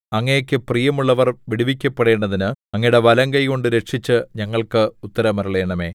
അങ്ങേക്കു പ്രിയമുള്ളവർ വിടുവിക്കപ്പെടേണ്ടതിന് അങ്ങയുടെ വലങ്കൈകൊണ്ട് രക്ഷിച്ച് ഞങ്ങൾക്ക് ഉത്തരമരുളണമേ